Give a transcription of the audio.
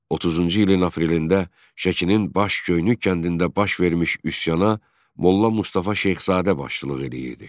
30-cu ilin aprelində Şəkinin Baş Göynük kəndində baş vermiş üsyana Molla Mustafa Şeyxzadə başçılıq edirdi.